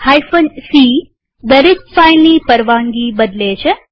c160 દરેક ફાઈલની પરવાનગી બદલે છે